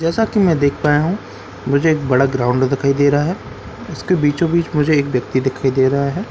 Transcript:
जैसा कि मैं देख पाया हूं मुझे एक बड़ा ग्राउंड दिखाई दे रहा है इसके बीचो-बीच मुझे एक व्यक्ति दिखाई दे रहा है।